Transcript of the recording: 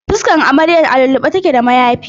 Fuskar amaryar a lullube take da mayafi.